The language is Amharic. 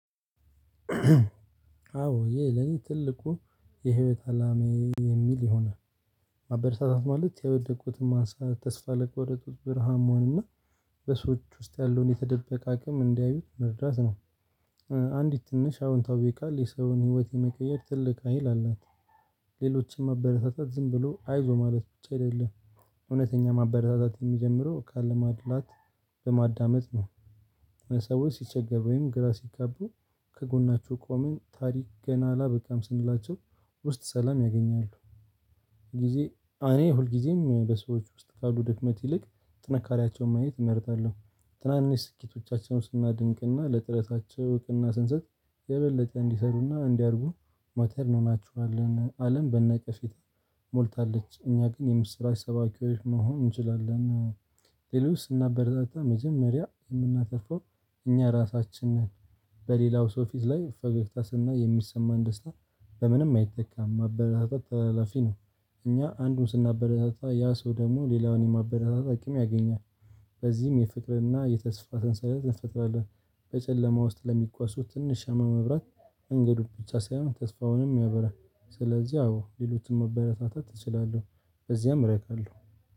አዎ ይሄ ለኔ ትልቁ የህይወት አላማዬ የሚል ይሆናል ማበረታታት ማለት የወደቁትን ማንሳት ተስፋ ለቆረጡት ብርሃን መሆን እና በሰዎች ውስጥ ያለውን የተደበቀ አቅም እንዲያዩት መርዳት ነው። አንዲት ትንሽ አዎንታዊ ቃል የሰውን ህይወት የመቀየር ትልቅ ሀይል አላት። ሌሎችን ማበረታታት ዝም ብሎ አይዞህ ማለት ብቻ አይደለም እውነተኛ ማበረታታት የሚጀምረው ካለማድላት በማዳመጥ ነው። ሰዎች ሲቸገሩ ወይም ግራ ሲጋቡ ከጎናቸው ቆመን ታሪክ ገና አላበቃም ስንላቸው ውስጥ ሰላም ያገኛሉ። ጊዜ እኔ ሁልጊዜም በሰዎች ውስጥ ካሉ ድፍመት ይልቅ ጥንካሬያቸውን ማየት እመርጣለሁ። ትናንሽ ስኬቶቻቸውን ስናድንቅና ለጥረታቸው እውቅና ስንሰጥ የበለጠ እንዲሰሩና እንዲያድጉ ማተር እንሆናቸዋለን። አለም በነቀፌታ ተሞልታለች እኛ ግን የምስራች ሰባኪዎች መሆን እንችላለን። ሌሎች ስናበረታታ መጀመሪያ የምናተርፈው እኛ ራሳችን ነን። በሌላው ሰው ፊት ላይ ፈገግታ ስናይ የሚሰማን ደስታ በምንም አይተካም። ማበረታታ ተላላፊ ነው። እኛ አንዱን ስናበረታታ ያ ሰው ደግሞ ሌላውን የማበረታታ አቅም ያገኛል። በዚህም የፍቅርና የተስፋ ሰንሰለት እንፈጥራለን። በጨለማ ውስጥ ለሚጓዙት ትንሽ ሻማ ማብራት እንግዱን ብቻ ሳይሆን ተስፋውንም ያበራል። ስለዚህ አዎ ሌሎችን ማበረታታት እችላለሁ በዚያም እረካለሁ።